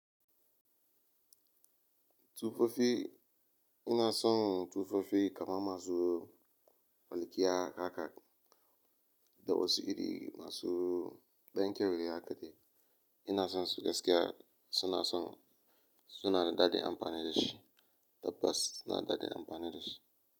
Tufafi ina son tufafi kamar masu walƙiya haka, da wasu iri masu ɗan kyau dai haka dai ina son su gaskiya ina son suna da daɗin amfani da shi. Tabbas suna daɗin amfani da shi.